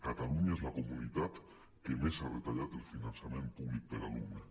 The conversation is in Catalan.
catalunya és la comunitat que més ha retallat el finançament públic per alumne